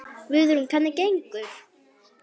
Guðrún: Hvernig gengur?